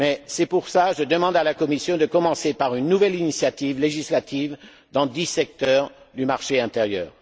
C'est pourquoi je demande à la Commission de commencer par une nouvelle initiative législative dans dix secteurs du marché intérieur.